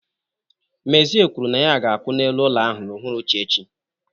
Mezie kwuru na ya ga-akụ n'elu ụlọ ahụ n'uhuruchi echi.